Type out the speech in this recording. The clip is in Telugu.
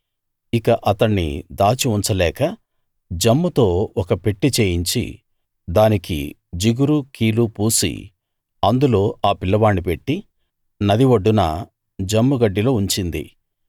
ఇక అతణ్ణి దాచి ఉంచలేక జమ్ముతో ఒక పెట్టె చేయించి దానికి జిగురు కీలు పూసి అందులో ఆ పిల్లవాణ్ణి పెట్టి నది ఒడ్డున జమ్ము గడ్డిలో ఉంచింది